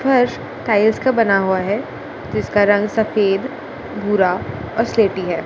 फर्श टाइल्स का बना हुआ है जिसका रंग सफेद भूरा और स्लेटी है।